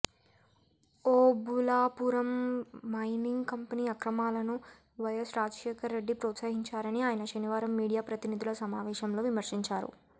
Obulapuram mining company అక్రమాలను వైయస్ రాజశేఖర రెడ్డి ప్రోత్సహించారని ఆయన శనివారం మీడియా ప్రతినిధుల సమావేశంలో విమర్శించారు